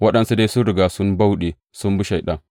Waɗansu dai sun riga sun bauɗe sun bi Shaiɗan.